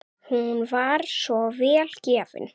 Hún var svo vel gefin.